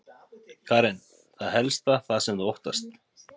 Karen: Er það helst það sem þú óttast?